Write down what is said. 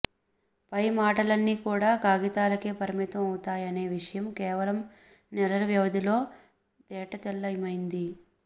పై మాటలన్ని కూడా కాగితాలకే పరిమితం అవుతయనే విషయం కేవలం నెలల వ్యవధిలోనే తేటతెల్లమైంది